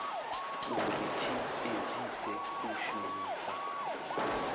uri tshi edzise u shumisa